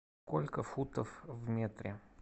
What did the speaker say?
сколько футов в метре